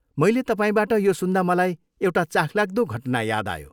मैले तपाईँबाट यो सुन्दा मलाई एउटा चाखलाग्दो घटना याद आयो।